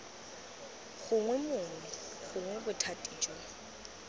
gongwe mongwe gongwe bothati jo